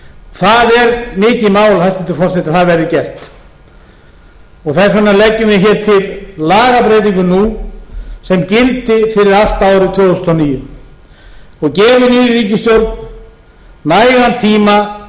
það er mikið mál hæstvirtur forseti að það verði gert þess vegna leggjum við hér til lagabreytingu nú sem gildi fyrir allt árið tvö þúsund og níu og gefi nýrri ríkisstjórn nægan tíma til